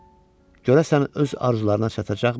Görəsən, öz arzularına çatacaqmı?